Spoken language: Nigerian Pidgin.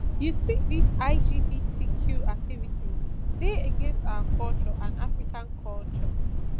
you see dis lgbtq activities dey against our culture and african culture